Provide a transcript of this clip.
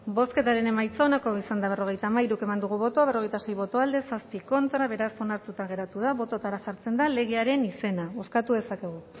bozketaren emaitza onako izan da berrogeita hamairu eman dugu bozka berrogeita sei boto alde siete contra beraz onartuta geratu da bototara jartzen da legearen izena bozkatuko dezakegu